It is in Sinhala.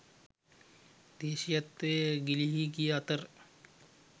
දේශීයත්වය ගිලිහී ගිය අතර